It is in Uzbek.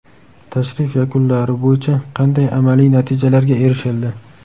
Tashrif yakunlari bo‘yicha qanday amaliy natijalarga erishildi?